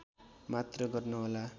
मात्र गर्नुहोला